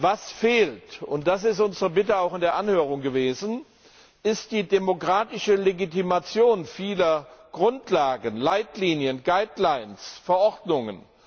Was fehlt und das ist unsere Bitte auch in der Anhörung gewesen ist die demokratische Legitimation vieler Grundlagen, Leitlinien, Verordnungen.